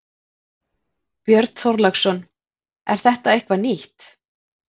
Björn Þorláksson: Er þetta eitthvað nýtt?